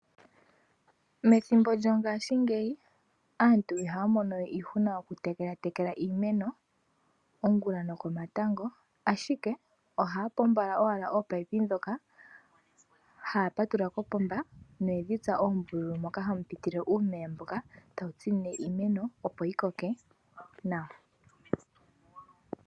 Methimbo lyongashingeyi aantu ihaya mono we iihuna okutekela iimeno ongula nokomatango, ashike ohaya pombola owala ominino dhoka, haya patulula kopomba noyedhi tsa oombululu moka hamu pitile uumeya mboka tawu tsinine iimeno, opo yi koke nawa.